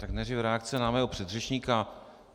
Tak nejdříve reakce na mého předřečníka.